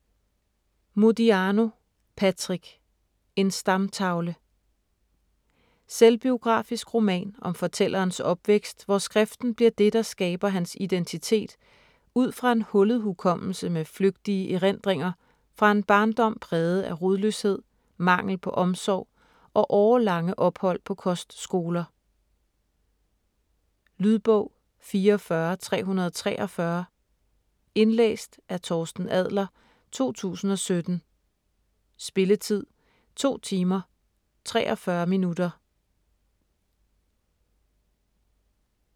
Modiano, Patrick: En stamtavle Selvbiografisk roman om fortællerens opvækst, hvor skriften bliver det, der skaber hans identitet ud fra en hullet hukommelse med flygtige erindringer fra en barndom præget af rodløshed, mangel på omsorg og årelange ophold på kostskoler. Lydbog 44343 Indlæst af Torsten Adler, 2017. Spilletid: 2 timer, 43 minutter.